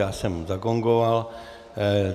Já jsem už zagongoval.